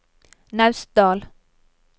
Naustdal